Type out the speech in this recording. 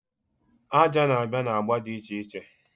Aja na-abịa na agba dị iche iche.